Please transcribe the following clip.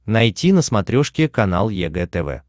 найти на смотрешке канал егэ тв